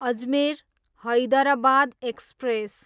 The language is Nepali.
अजमेर, हैदराबाद एक्सप्रेस